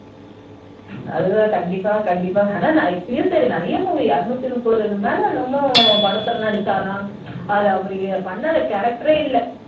அதுதான் கண்டிப்பா கண்டிப்பா அது தான் டா இப்பவும் சரி இருநூத்து முப்பதுக்கு மேல என்னமோ படத்துல நடிச்சாராம்அதுல அவர் பண்ணது character ஏ இல்ல